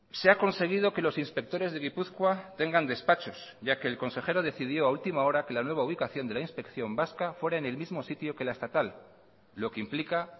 se ha conseguido que los inspectores de gipuzkoa tengan despachos ya que el consejero decidió a ultima hora que la nueva ubicación de la inspección vasca fuera en el mismo sitio que la estatal lo que implica